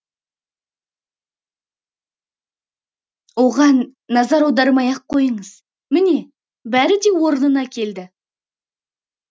оған назар аудармай ақ қойыңыз міне бәрі де орнына келді